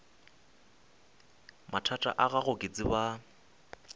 mathata a gago ke tseba